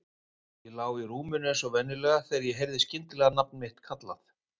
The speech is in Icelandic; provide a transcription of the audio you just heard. Ég lá í rúminu eins og venjulega þegar ég heyrði skyndilega nafn mitt kallað.